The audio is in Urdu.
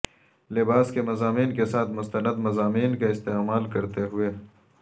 لباس کے مضامین کے ساتھ مستند مضامین کا استعمال کرتے ہوئے